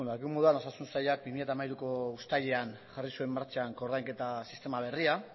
dakigun moduan osasun sailak bi mila hamairuko uztailean jarri zuen martxan koordainketa sistema berria